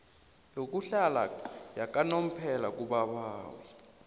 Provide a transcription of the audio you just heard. yokuhlala yakanomphela kubabawi